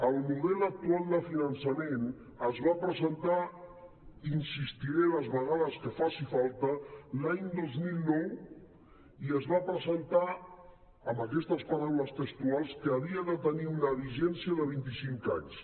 el model actual de finançament es va presentar i hi insistiré les vegades que faci falta l’any dos mil nou i es va presentar amb aquestes paraules textuals que havia de tenir una vigència de vint i cinc anys